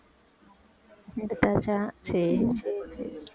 எடுத்தாச்சா சரி சரி சரி